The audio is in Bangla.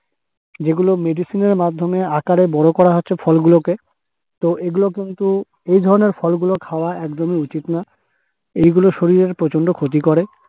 যেগুলো medicine -এর মাধ্যমে আকারে বড় করা হচ্ছে ফল গুলোকে । তো এগুলো কিন্তু এই ধরণের ফলগুলো খাওয়া কিন্তু একদম ই উচিত না। এইগুলো শরীরের প্রচণ্ড ক্ষতি করে।